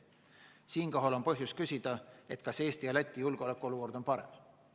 Siinkohal on põhjust küsida, kas Eesti ja Läti julgeolekuolukord on parem.